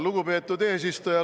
Lugupeetud eesistuja!